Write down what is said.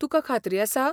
तुकां खात्री आसा?